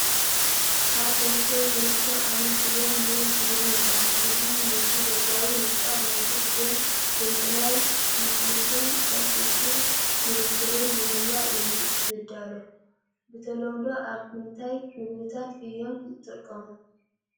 ኣብ ቦርሳ ዝርከብ ዓይነት ስገም ሉል ስገም ይበሃል። እዚ ነቲ ደጋዊ ንጣብ ናይቲ ስገም ብምእላይ፡ ልስሉስን ቀልጢፉ ዚብሰልን ብምግባር እዩ ዚዳሎ። ብተለምዶ ኣብ ምንታይ መግብታት እዮም ዝጥቀሙ?